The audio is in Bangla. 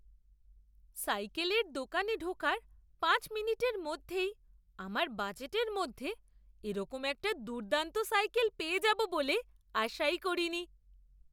সাইকেলের দোকানে ঢোকার পাঁচ মিনিটের মধ্যেই আমার বাজেটের মধ্যে এরকম একটা দুর্দান্ত সাইকেল পেয়ে যাবো বলে আশাই করিনি!